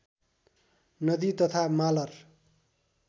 नदी तथा मालर